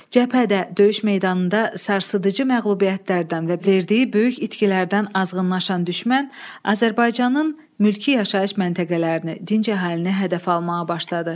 Cəbhədə, döyüş meydanında sarsıdıcı məğlubiyyətlərdən və verdiyi böyük itkilərdən azğınlaşan düşmən Azərbaycanın mülki yaşayış məntəqələrini, dinc əhalini hədəfə almağa başladı.